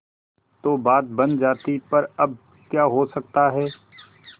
तो बात बन जाती पर अब क्या हो सकता है